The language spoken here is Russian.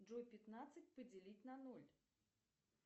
джой пятнадцать поделить на ноль